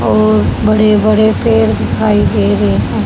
और बड़े बड़े पेड़ दिखाई दे रहे हैं।